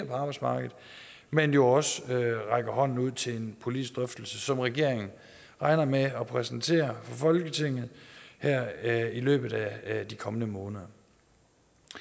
på arbejdsmarkedet men jo også rækker hånden ud til en politisk drøftelse som regeringen regner med at præsentere for folketinget her i løbet af de kommende måneder